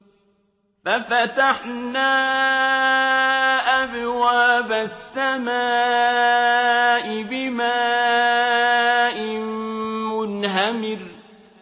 فَفَتَحْنَا أَبْوَابَ السَّمَاءِ بِمَاءٍ مُّنْهَمِرٍ